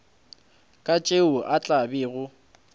ka tšeo a tla bego